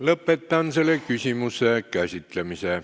Lõpetan selle küsimuse käsitlemise.